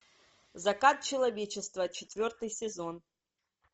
закат человечества четвертый сезон